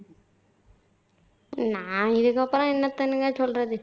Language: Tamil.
நான் இதுக்கப்பறம் என்னத்தனுங்க சொல்றது